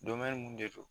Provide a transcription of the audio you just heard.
mun de don